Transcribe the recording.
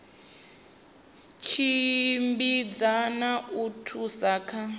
tshimbidza na u thusa kha